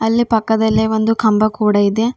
ಅಲ್ಲೇ ಪಕ್ಕದಲೇ ಒಂದು ಕಂಬ ಕೂಡ ಇದೆ.